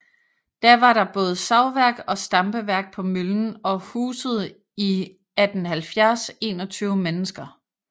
Da var der både savværk og stampeværk på møllen og husede i 1870 21 mennesker